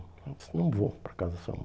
Eu disse, não vou para a casa da sua mãe.